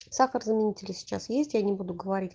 сахара заменитель сейчас есть я не буду говорить